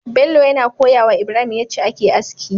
Bello yana koyawa ibrahim yace ake aski